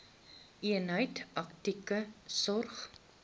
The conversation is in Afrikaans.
eenheid akute sorg